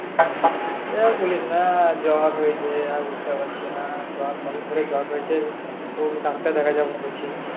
এই দেখ বলিস না জ্বর হয়েছে আর উঠতে পারছি না জ্বর কয়দিন ধরে জ্বর হয়েছে